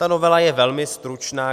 Ta novela je velmi stručná.